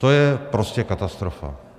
To je prostě katastrofa.